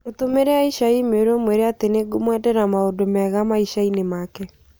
Mũtũmĩre Aisha i-mīrū ũmwĩre atĩ nĩ ngũkũmwendera maũnda mega maishaa-ĩnĩ maake